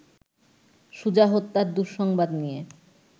সুজা হত্যার দুঃসংবাদ নিয়ে